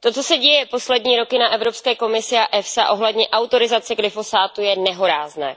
To, co děje poslední roky na Evropské komisi a EFSA ohledně autorizace glyfosátu, je nehorázné.